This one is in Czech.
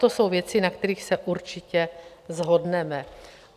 To jsou věci, na kterých se určitě shodneme.